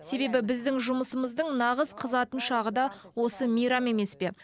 себебі біздің жұмысымыздың нағыз қызатын шағы да осы мейрам емес пе